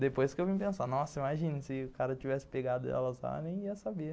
Depois que eu vim pensar, nossa, imagina se o cara tivesse pegado ela, ninguém ia saber.